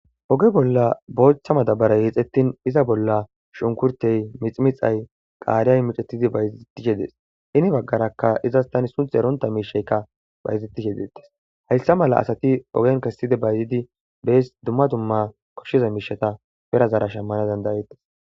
oge bolla booththa madabaray yexxettin iza bolla shunkurtey miximixay qaariyay micetidi bayzettih yedes ini baggaraka izas tani sunth eronta miishaykka bayzettish yedettes hayssa mala asati ogen kesside bayzidi bees dumma dumma koshshiza miishata perazara shammana dandayettes